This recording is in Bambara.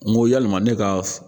N go yalima ne ka